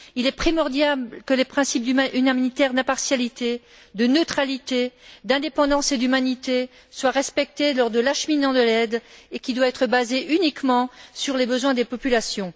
Il est primordial que les principes humanitaires d'impartialité, de neutralité, d'indépendance et d'humanité soient respectés lors de l'acheminement de l'aide, qui doit se baser uniquement sur les besoins des populations.